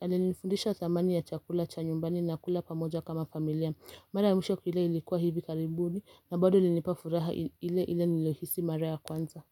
alenifundisha dhamani ya chakula cha nyumbani na kula pamoja kama familia Mara ya mwisho kukila ilikuwa hivi karibuni na bado ilinipa furaha ile ile niliyohisi mara ya kwanza.